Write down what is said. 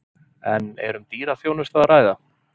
En er um dýra þjónustu að ræða?